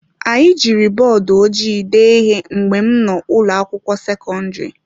Anyị jiri bọọdụ ojii dee ihe mgbe m nọ n’ụlọ akwụkwọ sekọndrị.